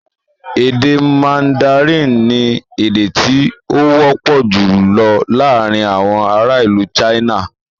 Èdè mandarin ni èdè tí ó wọ́pọ̀ jùlọ laarin awọn ara ilu China